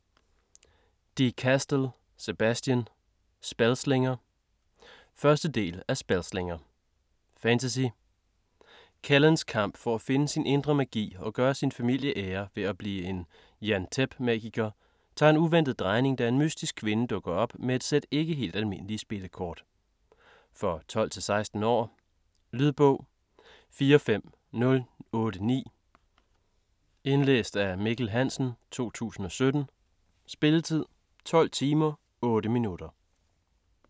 De Castell, Sebastien: Spellslinger 1. del af Spellslinger. Fantasy. Kellens kamp for at finde sin indre magi og gøre sin familie ære ved at blive en jan'Tep magiker, tager en uventet drejning, da en mystisk kvinde dukker op med et sæt ikke helt almindelige spillekort. For 12-16 år. Lydbog 45089 Indlæst af Mikkel Hansen, 2017. Spilletid: 12 timer, 8 minutter.